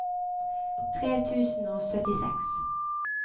tre tusen og syttiseks